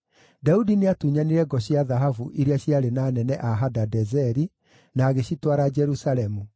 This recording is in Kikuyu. Daudi nĩatunyanire ngo cia thahabu iria ciarĩ na anene a Hadadezeri, na agĩcitwara Jerusalemu.